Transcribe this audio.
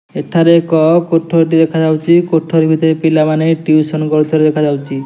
ଏଠାରେ ଏକ କୋଠରି ଟି ଦେଖାଯାଉଚି। କୋଠରି ଭିତରେ ପିଲାମାନେ ଟିଉସନ୍ କରୁଥିବାର ଦେଖା ଯାଉଚି।